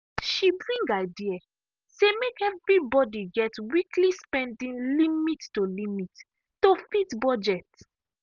she bring idea say make everybody get weekly spending limit to limit to fit budget.